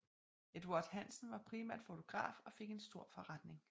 Eduard Hansen var primært fotograf og fik en stor forretning